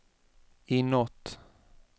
inåt